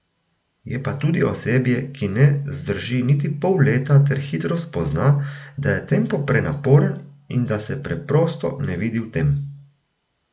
Je pa tudi osebje, ki ne zdrži niti pol leta ter hitro spozna, da je tempo prenaporen in da se preprosto ne vidi v tem.